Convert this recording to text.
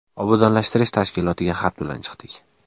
Obodonlashtirish tashkilotiga xat bilan chiqdik.